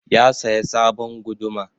Ya saya sabon guduma.